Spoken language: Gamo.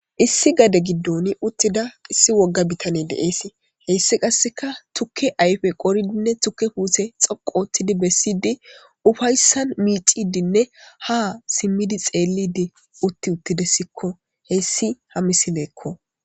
issi gade giddon uttida issi wogga bitane deees heyssi qasseka tukke ayfe qoridinne tukke huuse xaqottidi bessidi ufayssan miixidinne ha simmidi xeellidi utti uttidessikko heyssi ha misileekko